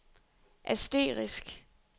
asterisk